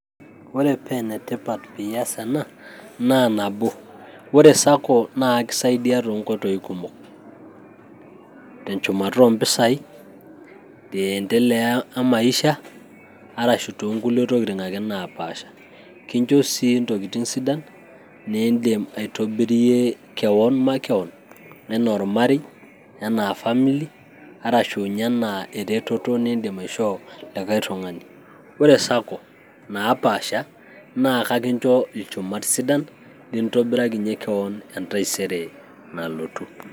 Ore paa enetipat peas ena naa nabo ore esako naa kakisaidia too nkotoii kumok, enchumata impisai, teendelea emaisha arashu too nkulie tokitin ake napaasha kincho sii Intokitin sidan niidim aitobirie kewan makewan enaa ormarei, enaa famili arashu ninye anaa eretoto niidim Ashok likae tung'ani. Ore Sako napaasha naa kakincho ilchumat sidan lintobirakinyie kewan entaisere nalotu.